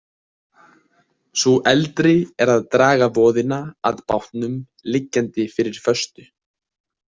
Sú eldri er að draga voðina að bátnum liggjandi fyrir föstu.